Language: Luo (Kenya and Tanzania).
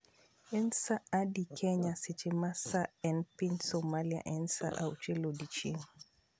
En sa adi kenya seche ma sa ei piny somali en sa auchiel odiechieng'